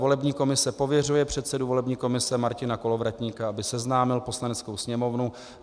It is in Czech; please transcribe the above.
Volební komise pověřuje předsedu volební komise Martina Kolovratníka, aby seznámil Poslaneckou sněmovnu